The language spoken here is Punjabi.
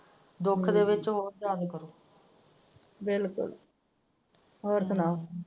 ਦੁੱਖ ਦੇ ਵਿੱਚ ਹੋਰ ਯਾਦ ਕਰੋ ਬਿਲਕੁੱਲ ਹੋਰ ਸੁਣਾ।